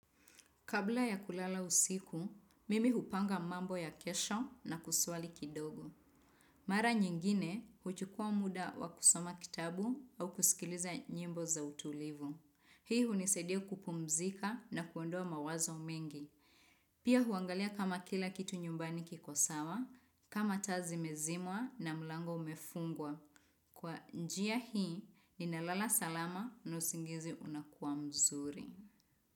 Kabla ya kulala usiku, mimi hupanga mambo ya kesho na kuswali kidogo. Mara nyingine, huchukuwa muda wa kusoma kitabu au kusikiliza nyimbo za utulivu. Hii hunisaidia kupumzika na kuondoa mawazo mengi. Pia huangalia kama kila kitu nyumbani kikosawa, kama taa zimezimwa na mlango umefungwa. Kwa njia hii, ninalala salama na usingizi unakuwa mzuri.